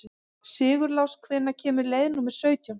Sigurlás, hvenær kemur leið númer sautján?